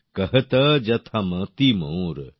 কহত যথা মোতি মোর